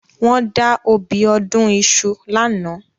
Wọ́n da obì ọdún iṣu lánàá